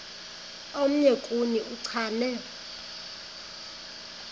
omnye kuni uchane